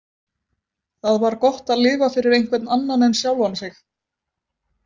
Það var gott að lifa fyrir einhvern annan en sjálfan sig.